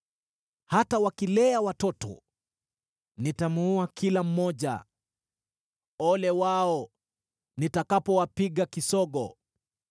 Hata wakilea watoto, nitamuua kila mmoja. Ole wao nitakapowapiga kisogo!